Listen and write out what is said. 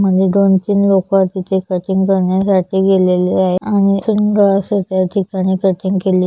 मध्ये दोन-तीन लोक तिथे कटिंग करण्यासाठी गेलेले आहे आणि सुंदर अस त्या ठिकाणी कटिंग केलेल--